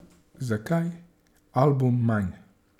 Zakaj album manj?